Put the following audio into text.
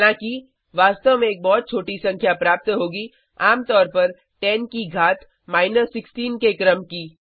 हालांकि वास्तव में एक बहुत छोटी संख्या प्राप्त होगी आम तौर पर 10 की घात 16 के क्रम की